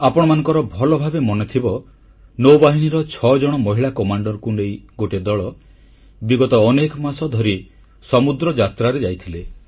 ଆପଣମାନଙ୍କର ଭଲଭାବେ ମନେଥିବ ନୌବାହିନୀର ଛଅଜଣ ମହିଳା କମାଣ୍ଡରଙ୍କୁ ନେଇ ଗୋଟିଏ ଦଳ ବିଗତ ଅନେକ ମାସ ଧରି ସମୁଦ୍ର ଯାତ୍ରାରେ ଯାଇଥିଲେ